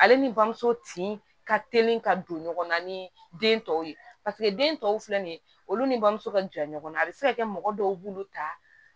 Ale ni bamuso tin ka teli ka don ɲɔgɔn na ni den tɔw ye den tɔw filɛ nin ye olu ni bamuso ka jan ɲɔgɔnna a bɛ se ka kɛ mɔgɔ dɔw b'olu ta